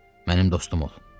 Mənim də dostum ol.